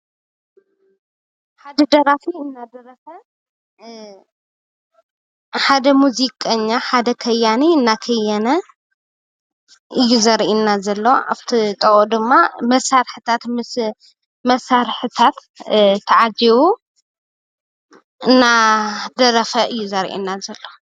ሓደ ደራፊ እናደረፈ ፣ሓደ ሙዚቀኛ ሓደ ኸያኒ እናኸየነ አዩ ዘርእየና ዘሎ። ኣፍቲ ጥቅኡ ድማ መሳርሕታት ተዓጅቡ እናደረፈ እዩ ዘርእየና ዘሎ።